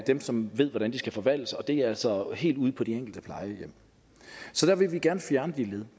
dem som ved hvordan de skal forvaltes og det er altså helt ude på de enkelte plejehjem så vi vil gerne fjerne de led